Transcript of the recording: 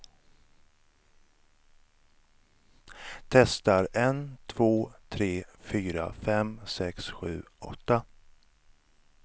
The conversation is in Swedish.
Testar en två tre fyra fem sex sju åtta.